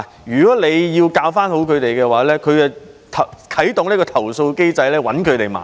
如果他們要教導學生，學生便會啟動投訴機制，找老師麻煩。